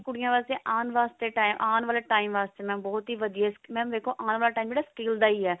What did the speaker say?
ਕੁੜੀਆਂ ਵਾਸਤੇ ਆਉਣ ਵਾਸਤੇ time ਆਉਣ ਵਾਲੇ time ਵਾਸਤੇ ਬਹੁਤ ਹੀ ਵਧੀਆ mam ਦੇਖੋ ਆਉਣ ਵਾਲਾ time ਜਿਹੜਾ skill ਦਾ ਹੈ